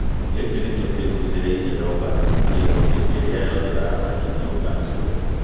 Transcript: Gĩkĩ nĩkĩo kĩgucĩrĩirie Robert Otieno hĩndĩ ĩrĩa yothe aracaria nyũmba njerũ.